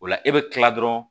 O la e bɛ kila dɔrɔn